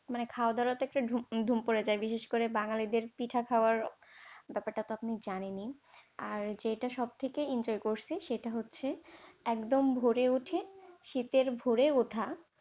মানে খাওয়াদাওয়ারও একটা ধুম পড়ে যায়। বিশেষ করে বাঙ্গালীদের পিঠে খাওয়ার ব্যাপারটা তো আপনি জানেনি। আর যেটা সবথেকে enjoy করছি সেটা হচ্ছে একদম ভোরে উঠে শীতের ভোরে উঠা।